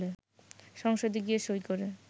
সংসদে গিয়ে সই করে